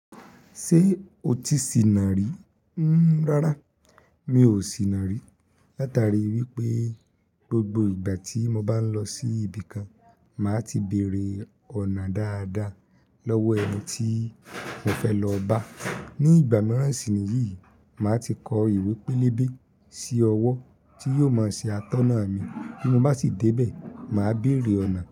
Ṣé o ti sìnà rí? Rárá mi ò sìnà rí. Látari wípé gbogbo ìgbà tí mo bá ń lọ sí ibi kan, màá ti bèèrè ọ̀nà dáadáa lọ́wọ́ ẹni tí mo fẹ́ lọ bá. Ní ìgbà míràn sì ni yìí, màá ti kọ ìwé pélébé sí ọwọ́ tí yóò máa ṣe atọ́nà mi. Bí mo bá ti dé bẹ̀, màá bèèrè ọ̀nà.